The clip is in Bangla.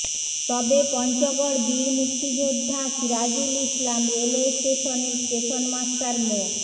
তবে পঞ্চগড় বীর মুক্তিযোদ্ধা সিরাজুল ইসলাম রেলওয়ে স্টেশনের স্টেশন মাস্টার মো